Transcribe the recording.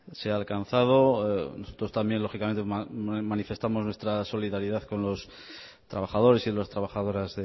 se ha alcanzado nosotros también lógicamente manifestamos nuestra solidaridad con los trabajadores y las trabajadoras